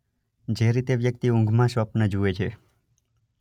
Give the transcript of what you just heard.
જે રીતે વ્યક્તિ ઊંઘમાં સ્વપ્ન જુએ છે